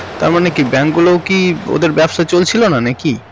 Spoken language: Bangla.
তার মানে কি bank গুলোও কি ওদের ব্যবসা চলছিল না নাকি